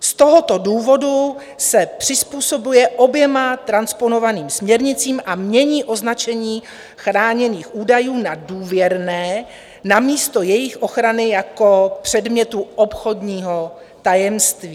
Z tohoto důvodu se přizpůsobuje oběma transponovaným směrnicím a mění označení chráněných údajů na důvěrné namísto jejich ochrany jako předmětu obchodního tajemství.